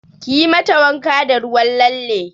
Kiyi mata wanka da ruwan lalle!